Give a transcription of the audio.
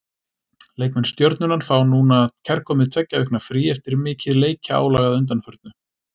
Leikmenn Stjörnunnar fá núna kærkomið tveggja vikna frí eftir mikið leikjaálag að undanförnu.